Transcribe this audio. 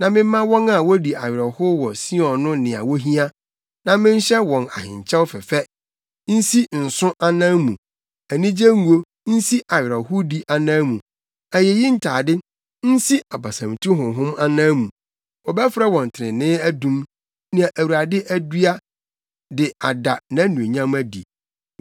na memma wɔn a wodi awerɛhow wɔ Sion no nea wohia, na menhyɛ wɔn ahenkyɛw fɛfɛ nsi nsõ anan mu, anigye ngo nsi awerɛhowdi anan mu, ayeyi atade nsi abasamtu honhom anan mu. Wɔbɛfrɛ wɔn trenee adum nea Awurade adua de ada nʼanuonyam adi.